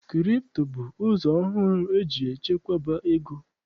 Kripto bụ ụzọ ọhụrụ eji echekwaba ego.